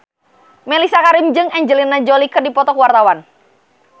Mellisa Karim jeung Angelina Jolie keur dipoto ku wartawan